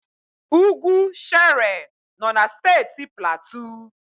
Ugwu Shere nọ na Steeti Platu.